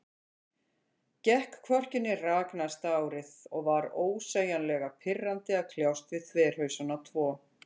Gekk hvorki né rak næsta árið, og var ósegjanlega pirrandi að kljást við þverhausana tvo.